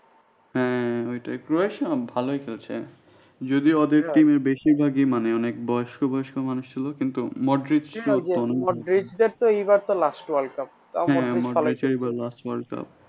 হ্যাঁ ওইটাই ও ভালোয় খেলছে যদিও ওদের team এ বেশিরভাগই অনেক মানে বয়স্ক বয়স্ক মানুষ ছিল কিনতু হ্যাঁ এবার last worldcup